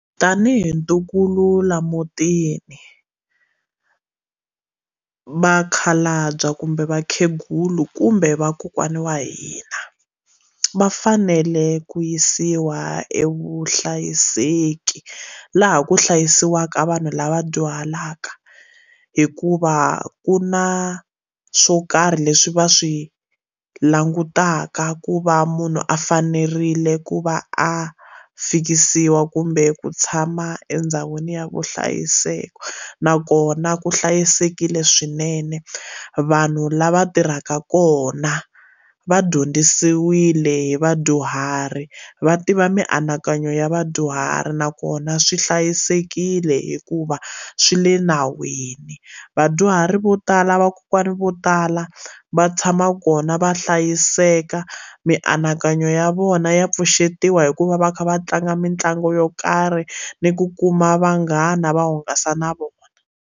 Tanihi ntukulu laha mutini vakhalabya kumbe vakhegula kumbe vakokwani wa hina va fanele ku yisiwa evuhlayiseki laha ku hlayisiwaka vanhu lava dyuhalaka hikuva ku na swo karhi leswi va swi langutaka ku va munhu a fanerile ku va a fikisiwa kumbe ku tshama endhawini ya vuhlayiseki nakona ku hlayisekile swinene vanhu lava tirhaka kona va dyondzisiwile hi vadyuhari va tiva mianakanyo ya vadyuhari nakona swi hlayisekile hikuva swi le nawini vadyuhari vo tala vakokwana vo tala va tshama kona va hlayiseka mianakanyo ya vona ya pfuxetiwa hikuva va kha va tlanga mitlangu yo karhi ni ku kuma vanghana va hungasa na vona.